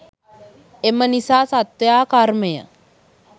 එම නිසා සත්වයා කර්මය